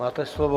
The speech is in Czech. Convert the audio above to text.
Máte slovo.